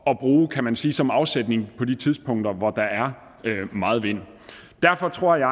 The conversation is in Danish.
at bruge kan man sige som afsætning på de tidspunkter hvor der er meget vind derfor tror jeg